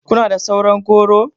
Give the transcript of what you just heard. Kuna da sauran goro?